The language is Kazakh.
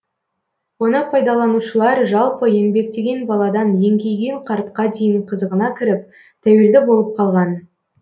оны пайдаланушылар жалпы еңбектеген баладан еңкейген қартқа дейін қызығына кіріп тәуелді болып қалған